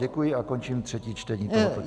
Děkuji a končím třetí čtení.